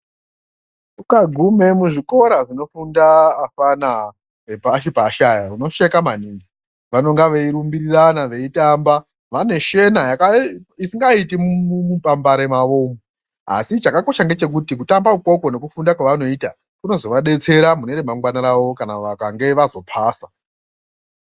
Ukagume muzvikora zvinofunda afana epashi pashi aya unosheka maningi. Vanonga veirumbirirana veitamba vane shena isingaiti mumupambare mavo umu, asi chakakosha ngechekuti kutamba ikoko nekufunda kwavanoita kunozovadetsera mune remangwana ravo kana vakange vazopasa.